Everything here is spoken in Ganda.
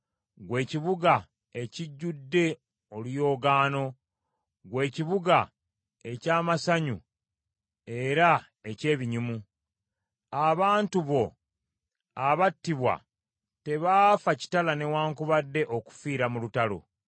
ggwe ekibuga ekijjudde oluyoogaano, ggwe ekibuga eky’amasanyu era eky’ebinyumu? Abantu bo abattibwa, tebaafa kitala newaakubadde okufiira mu lutalo.